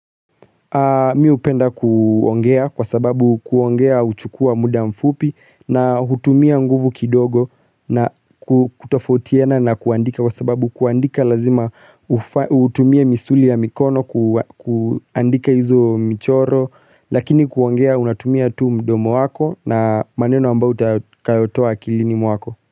Mi upenda kuongea kwa sababu kuongea uchukua muda mfupi na hutumia nguvu kidogo na kutofautiana na kuandika kwa sababu kuandika lazima utumiea misuli ya mikono ku kuandika hizo michoro lakini kuongea unatumia tu mdomo wako na maneno ambayo utakayotoa akilini mwako.